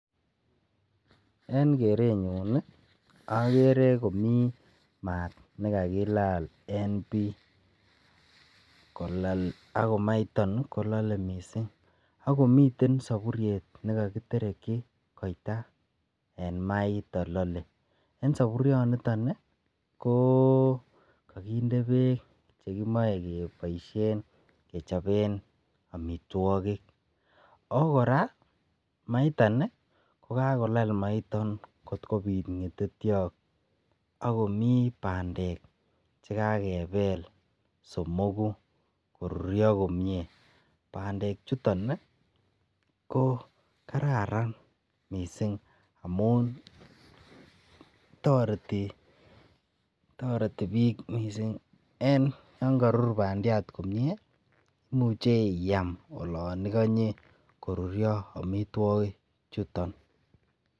En kerenyun nii okere komii maat nekakilal en bii kolal ak maiton kolole missing ak komiten soburyet nekokitereki koita en maiton lole. En soburyo niton nii ko kokinde beek chekimoi keboishen kechoben omitwokik. okoraa maiton Nii ko kakolal maiton kot kobit ngetetyot ak komii pandek chekakebel somoku koruryo komie, pandek chuton nii ko kararan missing amun toreti toreti bik Missing en yon korur pandiat komie imuche I am olon ikonyee koruryo omitwokik chuton.